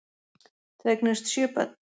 Þau eignuðust sjö börn.